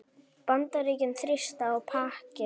Bandaríkin þrýsta á Pakistan